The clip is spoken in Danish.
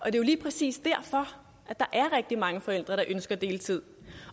er jo lige præcis derfor at der er rigtig mange forældre der ønsker deltid